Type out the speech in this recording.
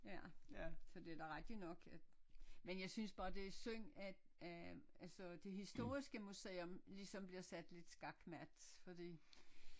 Ja så det er da rigtigt nok at men jeg synes bare det er synd at at altså det historiske museum ligesom bliver sat lidt skakmat fordi